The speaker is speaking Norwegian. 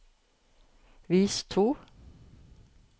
vis to